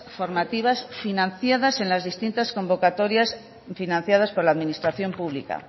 formativas financiadas en las distintas convocatorias financiadas por la administración pública